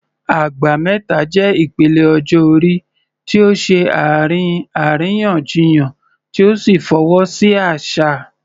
Agba Meta" jẹ́ ìpele ọjọ́ orí tí ó ṣe àárín àríyànjiyàn tí ó sì fọwọ́ sí àṣà.